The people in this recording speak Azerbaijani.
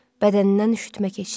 Bədənindən üşütmə keçdi.